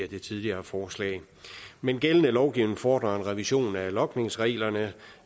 i det tidligere forslag men gældende lovgivning fordrer en revision af logningsreglerne